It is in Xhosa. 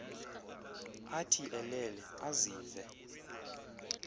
athi elele azive